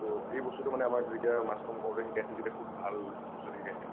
টো এই বস্তুটো মানে আমাক যেতিয়া mass com কৰোঁতে শিকাইছিল তেতিয়া খুব ভাল বস্তু এটা শিকাইছিল মানে ।